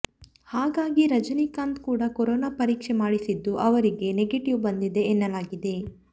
ಹಾಗಾಗಿ ರಜನೀಕಾಂತ್ ಕೂಡ ಕೊರೊನಾ ಪರೀಕ್ಷೆ ಮಾಡಿಸಿದ್ದು ಅವರಿಗೆ ನೆಗೆಟಿವ್ ಬಂದಿದೆ ಎನ್ನಲಾಗಿದೆ